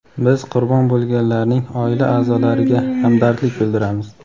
Biz qurbon bo‘lganlarning oila a’zolariga hamdardlik bildiramiz.